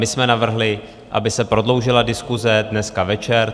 My jsme navrhli, aby se prodloužila diskuse dneska večer.